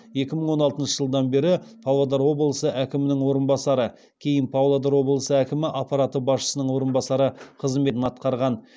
екі мың он алтыншы жылдан бері павлодар облысы әкімінің орынбасары кейін павлодар облысы әкімі аппараты басшысының орынбасары қызметін атқарған